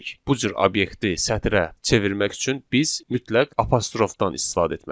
Bu cür obyekti sətrə çevirmək üçün biz mütləq apostrofdan istifadə etməliyik.